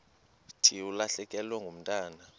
thi ulahlekelwe ngumntwana